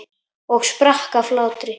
Og sprakk af hlátri.